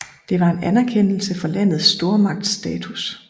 Det var en anerkendelse for landets stormagtsstatus